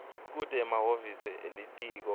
kute emahhovisi elitiko